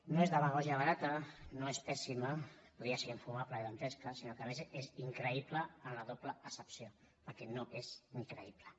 no és demagògia barata no és pèssima podria ser infumable i dantesca sinó que a més increïble en la doble accepció perquè no és ni creïble